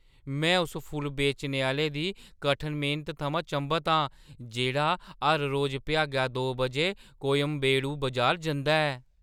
में उस फुल्ल बेचने आह्‌ले दी कठन मेह्‌नता थमां चंभत आं जेह्‌ड़ा हर रोज भ्यागा दो बजे कोयंबेडू बजार जंदा ऐ।